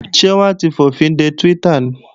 Ṣé wọ́n ti fòfinde Twitter ni?